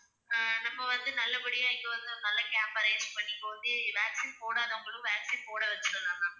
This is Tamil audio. அஹ் நம்ம வந்து நல்லபடியா இங்க வந்து ஒரு நல்ல camp arrange பண்ணி vaccine போடாதவங்களும் vaccine போட வச்சிடலாம் ma'am.